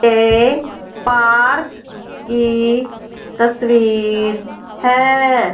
ये पार्क की तस्वीर है।